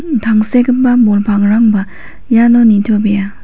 tangsekgipa bol pangrangba iano nitobea.